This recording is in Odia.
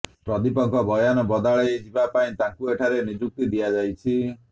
ପ୍ରଦୀପଙ୍କ ବୟାନ ବଦଳା ଯିବା ପାଇଁ ତାଙ୍କୁ ଏଠାରେ ନିଯୁକ୍ତି ଦିଆଯାଇଛି